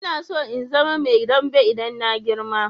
Ina so in zama Mai dambw idan na girma.